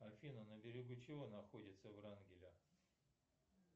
афина на берегу чего находится врангеля